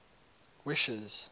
wishes